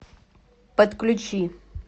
подключи